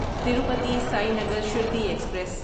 Tirupati Sainagar Shirdi express